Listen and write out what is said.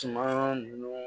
Tuma nun